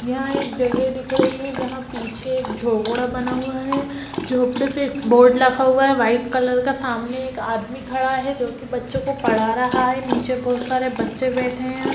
यहाँ एक जगह दिख रही है जहाँ पीछे एक झोपड़ा बना हुआ है झोपड़े पे एक बोर्ड रखा हुआ है वाइट कलर का सामने एक आदमी खड़ा है जो की बच्चों को पढ़ा रहा है निचे बहुत सारे बच्चे बैठे हैं।